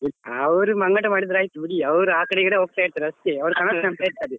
ಅವ್ರು ಮಂಗಾಟ ಮಾಡಿದ್ರೆ ಆಯ್ತು ಬಿಡಿ ಅವ್ರು ಆ ಕಡೆ ಈ ಕಡೆ ಹೋಗ್ತಾ ಇರ್ತಾರೆ ಅಷ್ಟೇ ಅವ್ರು ಇರ್ತಾರೆ.